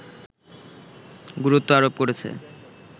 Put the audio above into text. গুরুত্ব আরোপ করেছে